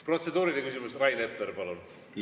Protseduuriline küsimus, Rain Epler, palun!